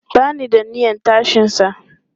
Ba ni da niyyan tashinsa.